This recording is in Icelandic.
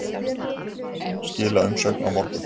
Skila umsögn á morgun